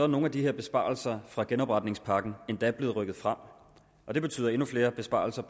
nogle af de her besparelser fra genopretningspakken endda blevet rykket frem og det betyder endnu flere besparelser